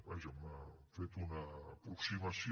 vaja hi ha fet una aproximació